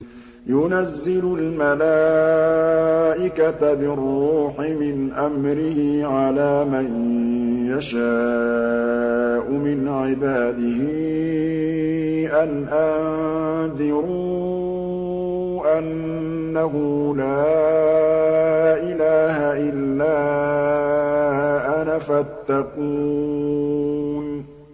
يُنَزِّلُ الْمَلَائِكَةَ بِالرُّوحِ مِنْ أَمْرِهِ عَلَىٰ مَن يَشَاءُ مِنْ عِبَادِهِ أَنْ أَنذِرُوا أَنَّهُ لَا إِلَٰهَ إِلَّا أَنَا فَاتَّقُونِ